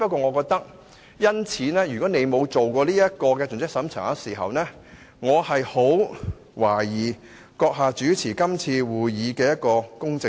我只是認為，如果你沒有作盡職審查，我便十分懷疑由主席你主持今次會議是否公正。